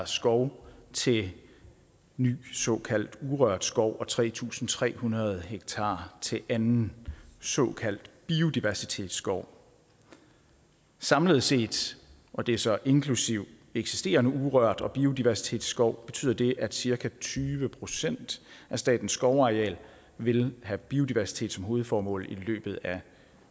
skov til ny såkaldt urørt skov og tre tusind tre hundrede hektar til anden såkaldt biodiversitetsskov samlet set og det er så inklusive eksisterende urørt skov og biodiversitetsskov betyder det at cirka tyve procent af statens skovareal vil have biodiversitet som hovedformål i løbet af